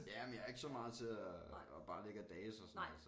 Ja men jeg er ikke så meget til at og bare at ligge og dase og sådan altså